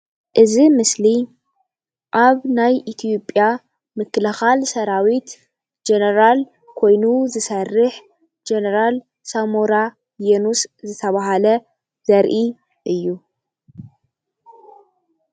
እዚ ምስሊ ኣብ ናይ ኢትዮጵያ ምክልካል ሰራዊት ጀነራል ኮይኑ ዝሰርሕ ጀነራል ሳሙራ የኑስ ዝትባሃለ ዘርኢ እዩ፡፡